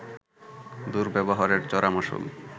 দুর্ব্যবহারের চড়া মাশুল